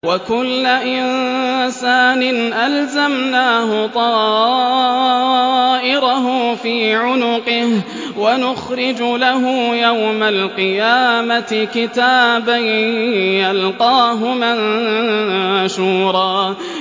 وَكُلَّ إِنسَانٍ أَلْزَمْنَاهُ طَائِرَهُ فِي عُنُقِهِ ۖ وَنُخْرِجُ لَهُ يَوْمَ الْقِيَامَةِ كِتَابًا يَلْقَاهُ مَنشُورًا